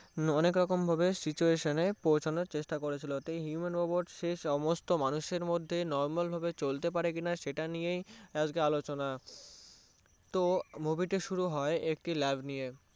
অনেকরকমভাবে situation এ পৌঁছানোর চেষ্টা করেছিলো এতে Human Robot সমস্ত মানুষের মধ্যে Normal ভাবে চলতে পারে কিনা সেটা নিয়েই আজকের আলোচনা তো movie টি শুরু হয় একটি Lab নিয়ে